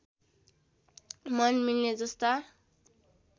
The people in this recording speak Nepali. मन मिल्ने जस्ता